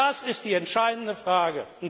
Das ist die entscheidende Frage!